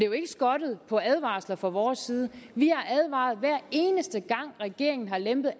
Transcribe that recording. jo ikke skortet på advarsler fra vores side vi har advaret hver eneste gang regeringen har lempet